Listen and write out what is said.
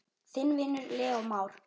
Þinn vinur, Leó Már.